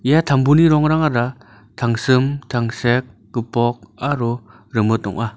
ia tambuni rongrangara tangsim tangsek gipok aro rimit ong·a.